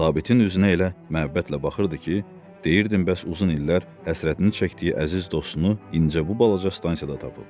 Sabitin üzünə elə məhəbbətlə baxırdı ki, deyirdin bəs uzun illər həsrətini çəkdiyi əziz dostunu incə bu balaca stansiyada tapıb.